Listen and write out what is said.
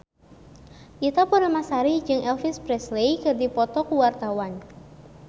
Ita Purnamasari jeung Elvis Presley keur dipoto ku wartawan